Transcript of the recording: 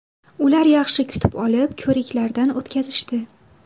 Ular yaxshi kutib olib, ko‘riklardan o‘tkazishdi.